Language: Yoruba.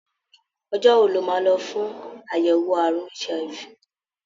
Ọjọ́ wo lo máa lọ fún àyẹ̀wò àrùn HIV?